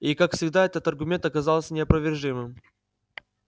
и как всегда этот аргумент оказался неопровержимым